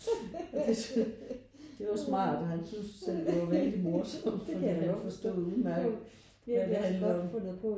Og det det var smart og han synes jo selv det var vældig morsomt fordi han forstod jo udmærket hvad det handlede om